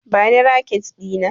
Bani raket Dina!